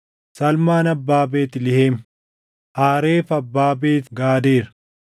Salmaan abbaa Beetlihem, Haareef abbaa Beet Gaadeer.